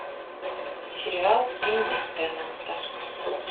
сериал энди теннанта